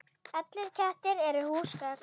Allir kettir eru húsgögn